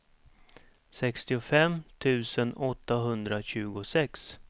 sextiofem tusen åttahundratjugosex